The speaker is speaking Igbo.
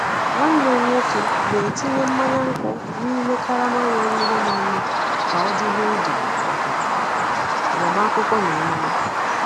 Nwanne m nwoke na-etinye mmanya nkwu n’ime karama nwere ihe na-eme ka ọ dịrị ndụ maka agbamakwụkwọ na emume.